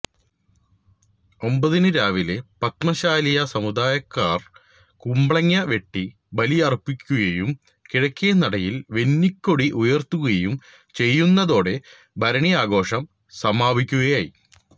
ഒമ്പതിനു രാവിലെ പത്മശാലിയ സമുദായക്കാര് കുംബളങ്ങ വെട്ടി ബലിയര്പ്പിക്കുകയും കിഴക്കേ നടയില് വെന്നിക്കൊടി ഉയര്ത്തുകയും ചെയ്യുന്നതോടെ ഭരണി ആഘോഷം സമാപിക്കുകയായി